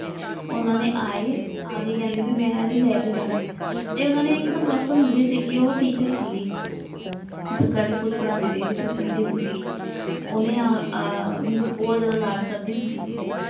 ਉਨ੍ਹਾਂ ਨੇ ਆਏ। ਆ ਕੇ ਕਹਿੰਦੇ ਬਈ ਮੈਂ ਇਹਨੂੰ ਲੈ ਕੇ ਜਾਣਾ ਤੇ ਉਨ੍ਹਾਂ ਦੇ ਇੱਕ ਪੜੋਸਣ ਹੁੰਦੀ ਸੀਗੀ ਉਹ ਟੀਚਰ ਸੀਗੀ ਸਰਕਾਰੀ ਸਕੂਲ ਪੜਾਉਂਦੀ ਸੀਗੀ ਜਿੱਥੇ ਮੈਂ ਪੜ੍ਹਦੀ ਹੁੰਦੀ ਸੀਗੀ ਉਹਨੇ ਆ ਮੈਨੂੰ ਬਹੁਤ ਜਿਆਦਾ ਲਾਡ ਕਰਦੀ ਹੁੰਦੀ ਸੀਗੀ।